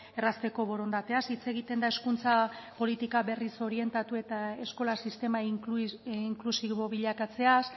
errazteko borondateaz hitz egiten da hezkuntza politika berriz orientatu eta eskola sistema inklusibo bilakatzeaz